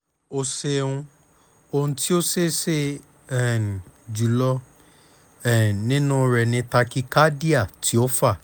o ṣeun ohun ti o ṣeeṣe um julọ um ninu rẹ ni tachycardia ti o fa